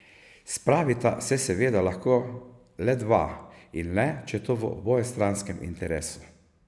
Spravita se seveda lahko le dva in le, če je to v obojestranskem interesu.